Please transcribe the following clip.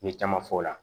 N ye caman fɔ o la